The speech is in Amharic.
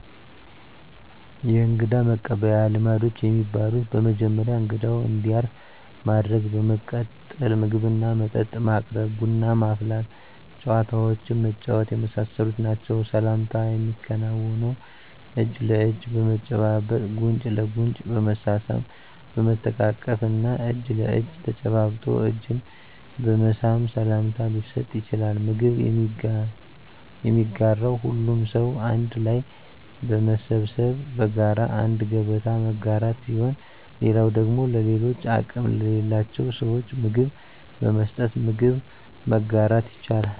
የእንግዳ መቀበያ ልማዶች የሚባሉት በመጀመሪያ እንግዳው እንዲያርፍ ማድረግ በመቀጠል ምግብና መጠጥ ማቅረብ ቡና ማፍላት ጨዋታዎችን መጫወት የመሳሰሉት ናቸዉ። ሰላምታ የሚከናወነው እጅ ለእጅ በመጨባበጥ ጉንጭ ለጉንጭ በመሳሳም በመተቃቀፍ እና እጅ ለእጅ ተጨባብጦ እጅን በመሳም ሰላምታ ሊሰጥ ይቻላል። ምግብ የሚጋራው ሁሉም ሰው አንድ ላይ በመሰብሰብ በጋራ አንድ ገበታ መጋራት ሲሆን ሌላው ደግሞ ለሌሎች አቅም ለሌላቸው ስዎች ምግብ በመስጠት ምግብ መጋራት ይቻላል።